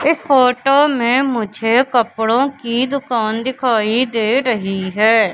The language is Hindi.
इस फोटो में मुझे कपड़ों की दुकान दिखाई दे रही है।